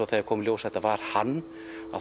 þegar það kom í ljós að það var hann